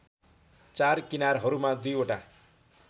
चार किनारहरूमा दुईवटा